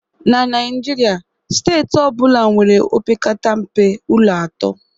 na Naijiria, steeti ọ bụla nwere opekata mpe ụlọ atọ